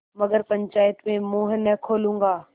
मगर पंचायत में मुँह न खोलूँगा